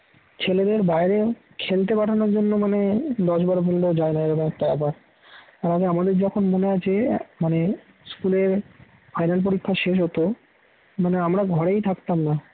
ছেলেদের বাইরে খেলতে পাঠানোর জন্য মানে দশবার বললেও যায় না এরকম একটা ব্যাপার আমাকে আমাদের যখন মনে আছে মানে school এর ফাইনাল পরীক্ষা শেষ হতো মানে আমরা ঘরেই থাকতাম না